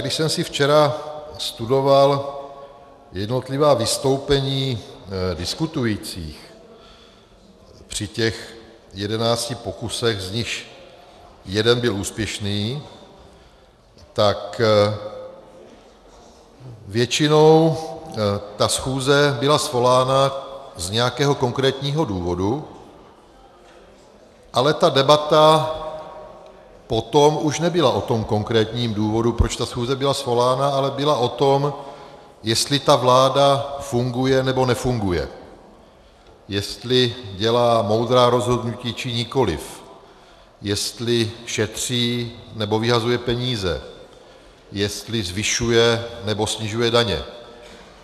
Když jsem si včera studoval jednotlivá vystoupení diskutujících při těch jedenácti pokusech, z nichž jeden byl úspěšný, tak většinou ta schůze byla svolána z nějakého konkrétního důvodu, ale ta debata potom už nebyla o tom konkrétním důvodu, proč ta schůze byla svolána, ale byla o tom, jestli ta vláda funguje nebo nefunguje, jestli dělá moudrá rozhodnutí či nikoliv, jestli šetří nebo vyhazuje peníze, jestli zvyšuje nebo snižuje daně.